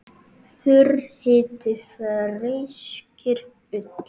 Þurr hiti feyskir ull.